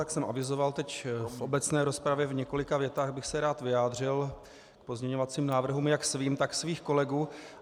Jak jsem avizoval teď v obecné rozpravě, v několika větách bych se rád vyjádřil k pozměňovacím návrhům jak svým, tak svých kolegů.